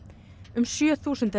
um sjö þúsund